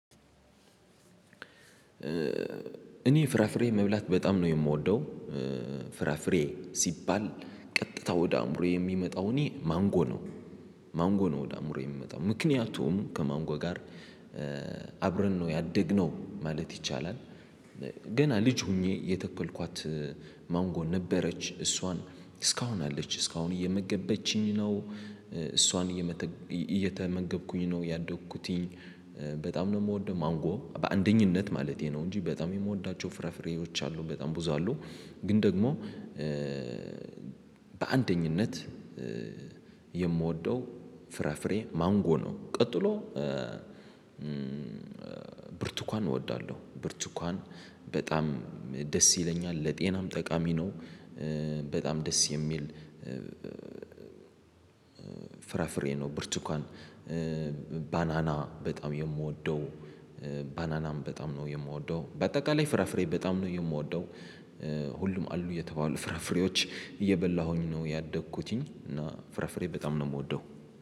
እኔ ፍራፍሬ መብላት በጣም ነው የምወደው። ፍራፍሬ ሲባል ቀጥታ ወደ አእምሮዬ የሚመጣው እኔ ማንጎ ነው። ማንጎ ነው ወደ አእምሮዬ የሚመጣው ምክንያቱም ከማንጎ ጋር አብረን ነው ያደግነው ማለት ይቻላል። ገና ልጅ ሆኜ የተከልኳት ማንጎ ነበረች እሷን እስካሁን አለች እስካሁን እየመገበችኝ ነው። እሷን እየመተክ እየተመገብኩኝ ነው ያደግኩትኝ። በጣም ነው የምወደው ማንጎ በአንደኝነት ማለቴ ነው እንጂ በጣም የምወዳቸው ፍራፍሬዎች አሉ በጣም ብዙ አሉ። ግን ደግሞ በአንደኝነት የምወደው ፍራፍሬ ማንጎ ነው። ቀጥሎ ብርቱካን እወዳለሁ ብርቱካን በጣም ደስ ይለኛል ለጤናም ጠቃሚ ነው። በጣም ደስ የሚል ፍራፍሬ ነው ብርቱካን። ባናና በጣም የምወደው ባናናም በጣም ነው የምወደው በአጠቃላይ ፍራፍሬ በጣም ነው የምወደው። ሁሉም አሉ የተባሉ ፍራፍሬዎች እየበላሁኝ ነው ያደግኩትኝ እና ፍራፍሬ በጣም ነው የምወደው